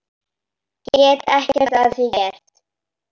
Get ekkert að því gert.